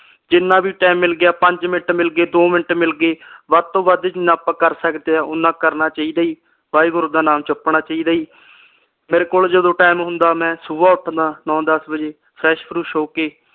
ਜਿਨ੍ਹਾਂ ਵੀ ਟਾਈਮ ਮਿਲ ਗਿਆ ਪੰਜ ਮਿੰਟ ਮਿਲਗੇ ਦੋ ਮਿੰਟ ਮਿਲਗੇ ਵੱਧ ਤੋਂ ਵੱਧ ਜਿਨ੍ਹਾਂ ਆਪਾ ਕਰ ਸਕਦੇ ਆ ਓਹਨਾ ਕਰਨਾ ਚਾਹੀਦਾ ਜੀ ਵਾਹਿਗੁਰੂ ਦਾ ਨਾਮ ਜਪਣਾ ਚਾਹੀਦਾ ਜੀ ਮੇਰੇ ਕੋਲ ਜਦੋ ਟਾਈਮ ਹੁੰਦਾ ਮੈ ਸੁਬਹ ਉੱਠਦਾ ਨੋ ਦਸ ਵਜੇ fresh ਫਰੁਸ਼ ਹੋ ਕੇ